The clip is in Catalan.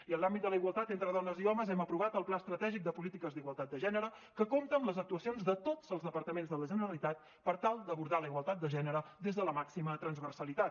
i en l’àmbit de la igualtat entre dones i homes hem aprovat el pla estratègic de polítiques d’igualtat de gènere que compta amb les actuacions de tots els departaments de la generalitat per tal d’abordar la igualtat de gènere des de la màxima transversalitat